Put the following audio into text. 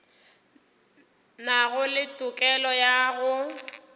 nago le tokelo ya go